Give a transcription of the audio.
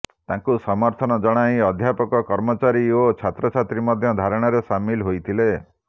ତାଙ୍କୁ ସମର୍ଥନ ଜଣାଇ ଅଧ୍ୟାପକ କର୍ମଚାରୀ ଓ ଛାତ୍ରଛାତ୍ରୀ ମଧ୍ୟ ଧାରଣାରେ ସାମିଲ ହୋଇଥିଲେ